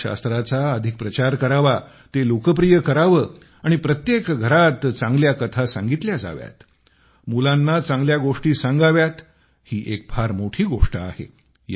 कथाशास्त्राचा अधिक प्रचार करावा ते लोकप्रिय करावे आणि प्रत्येक घरात चांगल्या कथा सांगितल्या जाव्यात मुलांना चांगल्या गोष्टी सांगाव्यात ही फार मोठी गोष्ट आहे